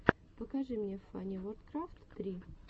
покажи мне фаниворкрафт три